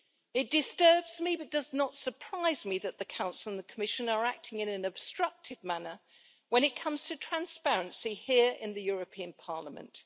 It disturbs me but does not surprise me that the Council and the Commission are acting in an obstructive manner when it comes to transparency here in the European Parliament.